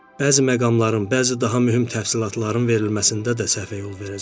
Bəzi məqamların, bəzi daha mühüm təfsilatların verilməsində də səhvə yol verəcəm.